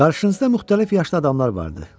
Qarşınızda müxtəlif yaşda adamlar vardı.